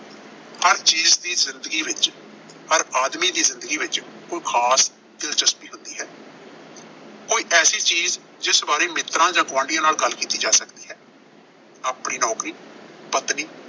ਹਰ ਚੀਜ਼ ਦੀ ਜ਼ਿੰਦਗੀ ਵਿੱਚ, ਹਰ ਆਦਮੀ ਦੀ ਜ਼ਿੰਦਗੀ ਵਿੱਚ ਕੋਈ ਖਾਸ ਦਿਲਚਸਪੀ ਹੁੰਦੀ ਹੈ। ਕੋਈ ਐਸੀ ਚੀਜ਼ ਜਿਸ ਬਾਰੇ ਮਿੱਤਰਾਂ ਜਾਂ ਗੁਆਂਢੀਆਂ ਨਾਲ ਗੱਲ ਕੀਤੀ ਜਾ ਸਕਦੀ ਹੈ। ਆਪਣੀ ਨੌਕਰੀ, ਪਤਨੀ